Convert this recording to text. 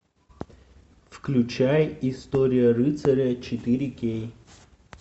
включай история рыцаря четыре кей